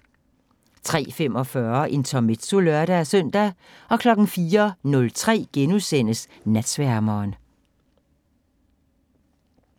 03:45: Intermezzo (lør-søn) 04:03: Natsværmeren *